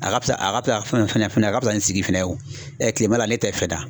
A ka fisa a ka fisa fɛnɛ fɛnɛ a ka fisa ni sigi fɛnɛ ye o kilema ne tɛ fɛn dan